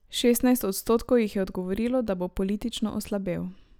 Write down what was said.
Šestnajst odstotkov jih je odgovorilo, da bo politično oslabel.